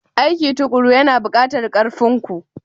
Aiki tukuru yana buƙatar ƙarfin ku.